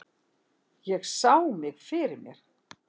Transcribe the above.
Ég sá mig fyrir mér.